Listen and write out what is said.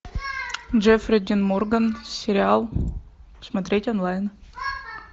джеффри дин морган сериал смотреть онлайн